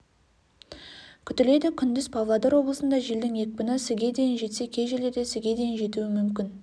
күтіледі күндіз павлодар облысында желдің екпіні с-ге дейін жетсе кей жерлерде с-ге дейін жетуі мүмкін